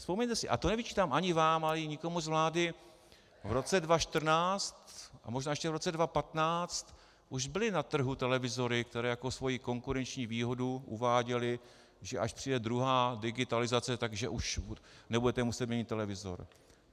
Vzpomeňte si, a to nevyčítám ani vám, ani nikomu z vlády, v roce 2014 a možná ještě v roce 2015 už byly na trhu televizory, které jako svoji konkurenční výhodu uváděly, že až přijde druhá digitalizace, tak že už nebudete muset měnit televizor.